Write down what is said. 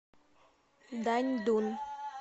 даньдун